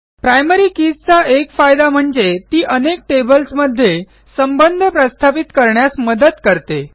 primary keys एक फायदा म्हणजे ती अनेक टेबल्स मध्ये संबंध प्रस्थापित करण्यास मदत करते